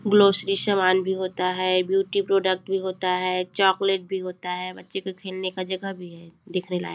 grocery सामान भी होता है ब्यूटी प्रोडक्ट भी होता है चॉकलेट भी होता है बच्चे का खेलने का जगह भी है देखने लायक--